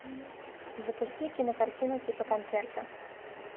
запусти кинокартину типа концерта